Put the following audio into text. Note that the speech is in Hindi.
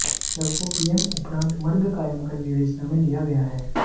शव को पीएम उपरांत मर्ग कायम कर विवेचना में लिया गया है